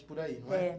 por aí, não é? É.